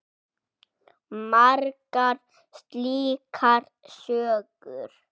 Margar slíkar sögur.